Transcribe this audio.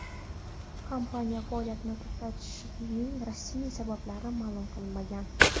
Kompaniya faoliyati to‘xtatilishining rasmiy sabablari ma’lum qilinmagan.